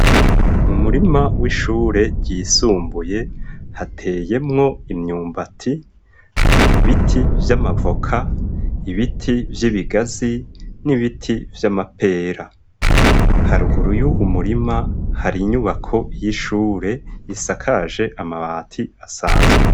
Mu murima w'ishure ryisumbuye hateyemwo imyumba ati ibiti vy'amavoka ibiti vy'ibigazi n'ibiti vy'amapera haruguru y'uwu murima hari inyubako y'ishure isakaje amabati asanzwe.